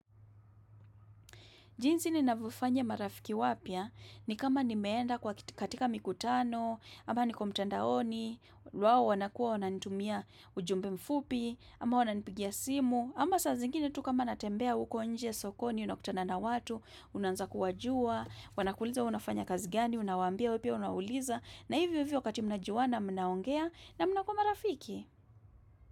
Jinzi ni navyofanya marafiki wapya ni kama nimeenda kwa, katika mikutano, ama niko mtandaoni, wao wanakuwa wananitumia ujumbe mfupi, ama wananipigia simu, ama saa zingine tu kama natembea huko nje sokoni, unakutana na watu, unaanza kuwajua. Wanakuuliza hua unafanya kazi gani, unawaambia wewe pia unauliza, na hivyo hivyo wakati mnajuana mnaongea na mnakuwa marafiki.